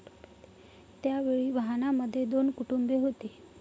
त्यावेळी वाहनामध्ये दोन कुटुंबे होती.